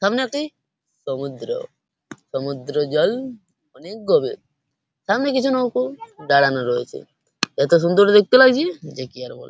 সামনে একটি সমুদ্র সমুদ্রের জল অনেক গভীর সামনে কিছু নৌকা দাঁড়ানো রয়েছে এতো সুন্দর দেখতে লাগছে যে কি আর বল--